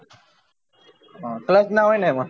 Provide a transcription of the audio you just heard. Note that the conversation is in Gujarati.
clutch ના હોય ને એમાં